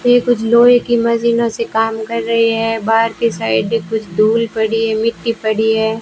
ये कुछ लोहे की मशीनो से काम कर रही है बाहर की साइड कुछ धूल पड़ी है मिट्टी पड़ी है।